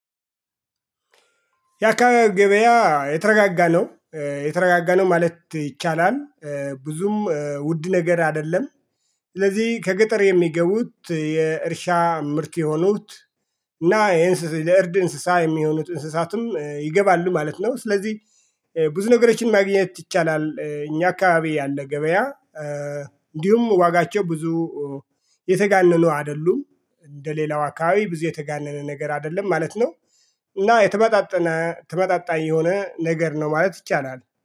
የአካባቢ ገበያ የተረጋጋ ነው እ የተረጋጋ ነው ማለት ይቻላል እ ብዙም ውድ ነገር አይደለም። ስለዚህ ከገጠር የሚገቡት የእርሻ ምርት የሆኑት እና ይሄን ለእርድ እንስሳ የሚሆኑት እንስሳትም ይገባሉ ማለት ነው። ስለዚህ እ ብዙ ነገሮችን ማግኘት ይቻላል። እኛ አካባቢ ያለ ገበያ እ እንዲሁም ዋጋቸው ብዙ የተጋነኑ አይደሉም እንደሌላው አካባቢ ብዙ የተጋነነ ነገር አይደለም ማለት ነው። እና የተመጣጠነ ተመጣጣኝ የሆነ ነገር ነው ማለት ይቻላል